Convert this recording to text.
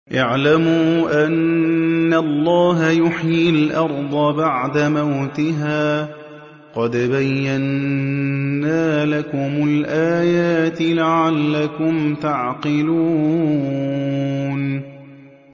اعْلَمُوا أَنَّ اللَّهَ يُحْيِي الْأَرْضَ بَعْدَ مَوْتِهَا ۚ قَدْ بَيَّنَّا لَكُمُ الْآيَاتِ لَعَلَّكُمْ تَعْقِلُونَ